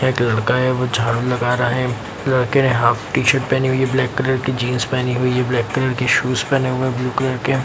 एक लड़का है वो झाड़ू लगा रहा है लड़के ने हाफ टी-शर्ट पहनी हुई है ब्लैक कलर की जीन्स पेहनी हुई है ब्लैक कलर की शूज पहने हुए है ब्लू कलर के --